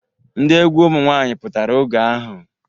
Ndi egwu ụmụ nwaanyị pụtara oge ahu.